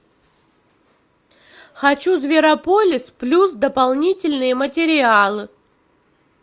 хочу зверополис плюс дополнительные материалы